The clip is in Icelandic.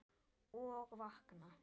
Og vakna!